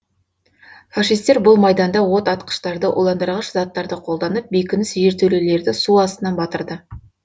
фашистер бұл майданда отатқыштарды уландырғыш заттарды қолданып бекініс жертөлелерді су астына батырды